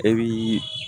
E bi